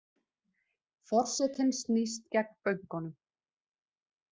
Forsetinn snýst gegn bönkunum